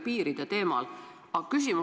Nii et ma hindan seda kõrgelt.